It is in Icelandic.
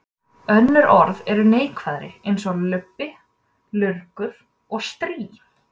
Önnur orð eru neikvæðari eins og lubbi, lurgur og strý.